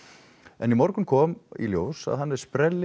en í morgun kom í ljós að hann er